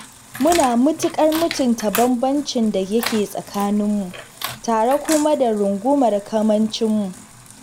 Muna mutuƙar mutunta bambancin da yake tsakaninmu tare kuma da rungumar kamancinmu.